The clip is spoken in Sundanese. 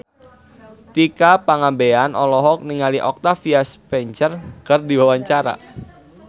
Tika Pangabean olohok ningali Octavia Spencer keur diwawancara